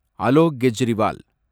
Alok Kejriwal